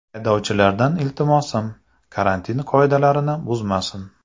Haydovchilardan iltimosim, karantin qoidalarini buzmasin.